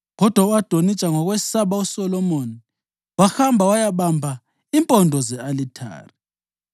Kodwa u-Adonija, ngokwesaba uSolomoni, wahamba wayabamba impondo ze-alithare.